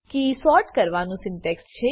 કી sort કરવાનું syntax છે